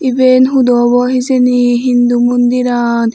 iben hudu obo hijeni hindu mundiran.